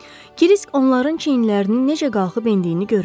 Krisk onların çiyinlərinin necə qalxıb endiyini görürdü.